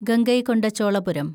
Gangaikonda Cholapuram